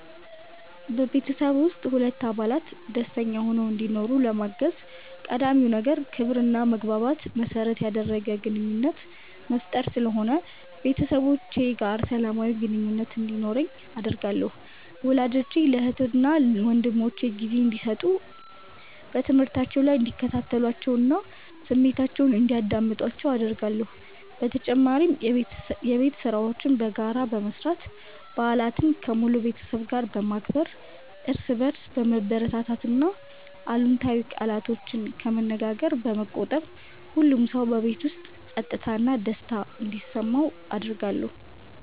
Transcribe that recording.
በቤተሰብ ውስጥ ሁሉም አባላት ደስተኛ ሆነው እንዲኖሩ ለማገዝ ቀዳሚው ነገር ክብርና መግባባትን መሠረት ያደረገ ግንኙነት መፍጠር ስለሆነ ቤተሰቦቼ ጋር ሰላማዊ ግንኙነት እንዲኖረኝ አደርጋለሁ። ወላጆቼ ለእህትና ወንድሞቼ ጊዜ እንዲሰጡ፣ በትምህርታቸው ላይ እንዲከታተሏቸውና ስሜታቸውን እንዲያዳምጡአቸው አደርጋለሁ። በተጨማሪም የቤት ሥራዎችን በጋራ በመስራት፣ በዓላትን ከሙሉ ቤተሰብ ጋር በማክበር፣ እርስ በርስ በመበረታታትና አሉታዊ ቃላትን ከመነገር በመቆጠብ ሁሉም ሰው በቤት ውስጥ ፀጥታና ደስታ እንዲሰማው አደርጋለሁ።